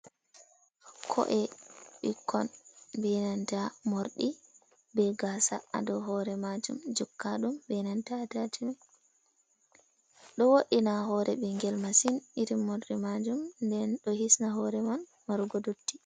Ko’e bikkon benanta mordi, be gasa hado hore majum jokka dum benanta atacimen. Ɗo woddina hore bingel masin, iri mordi majum nden do hisna hore man marugo dotti.